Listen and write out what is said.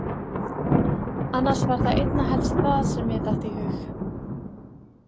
Annars var það einna helst það sem mér datt í hug.